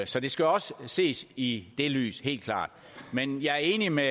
så det skal også ses i det lys helt klart men jeg er enig med